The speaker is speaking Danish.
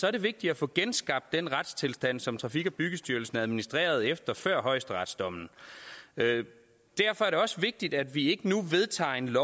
er det vigtigt at få genskabt den retstilstand som trafik og byggestyrelsen administrerede efter før højesteretsdommen derfor er det også vigtigt at vi ikke nu vedtager et